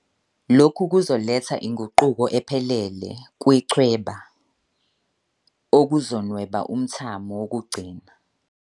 Lokhu kuzoletha inguquko ephelele kwichweba, okuzonweba umthamo wokugcina.